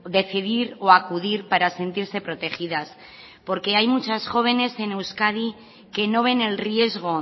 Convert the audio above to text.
decidir o acudir para sentirse protegidas porque hay muchas jóvenes en euskadi que no ven el riesgo